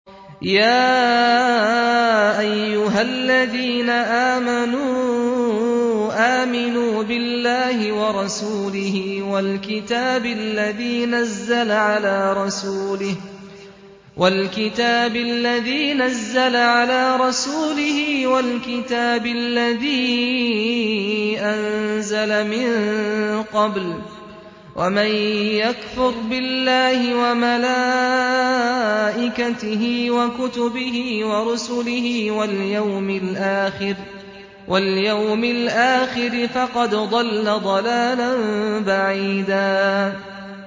يَا أَيُّهَا الَّذِينَ آمَنُوا آمِنُوا بِاللَّهِ وَرَسُولِهِ وَالْكِتَابِ الَّذِي نَزَّلَ عَلَىٰ رَسُولِهِ وَالْكِتَابِ الَّذِي أَنزَلَ مِن قَبْلُ ۚ وَمَن يَكْفُرْ بِاللَّهِ وَمَلَائِكَتِهِ وَكُتُبِهِ وَرُسُلِهِ وَالْيَوْمِ الْآخِرِ فَقَدْ ضَلَّ ضَلَالًا بَعِيدًا